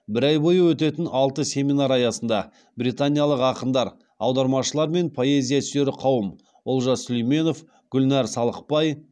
бір ай бойы өтетін алты семинар аясында британиялық ақындар аудармашылар мен поэзия сүйер қауым олжас сүлейменов гүлнар салықбай